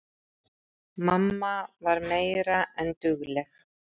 Mamma var meira en dugleg.